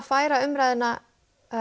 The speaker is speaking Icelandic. færa umræðuna